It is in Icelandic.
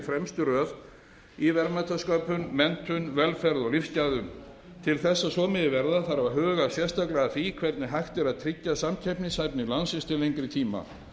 fremstu röð í verðmætasköpun menntun velferð og lífsgæðum til þess að svo megi verða þarf að huga sérstaklega að því hvernig hægt er að tryggja samkeppnishæfni landsins til lengri tíma